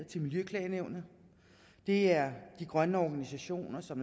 til miljøklagenævnet det er de grønne organisationer som